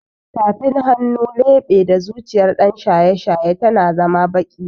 Tafin hannu, leɓe da zuciyar ɗan shaye-shaye tana zama baƙi